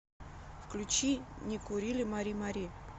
включи не курили мари мари